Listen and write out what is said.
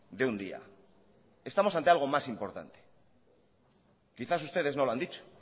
de un día estamos ante algo más importante quizás ustedes no lo han dicho